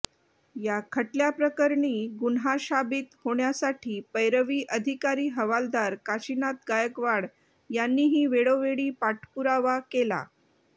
या खटल्याप्रकरणी गुन्हा शाबित होण्यासाठी पैरवी अधिकारी हवालदार काशिनाथ गायकवाड यांनीही वेळोवेळी पाठपुरावा केला